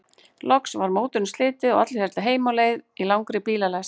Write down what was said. Loks var mótinu slitið og allir héldu heim á leið í langri bílalest.